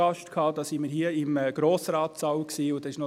Da waren wir hier im Grossratssaal und hatten Graubünden zu Gast.